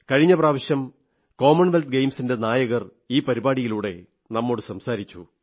കഴിഞ്ഞ പ്രാവശ്യം commonwealth ഗെയിംസിന്റെ നായകർ ഈ പരിപാടിയിലൂടെ നമ്മോടു സംസാരിച്ചു